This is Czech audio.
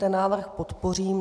Ten návrh podpořím.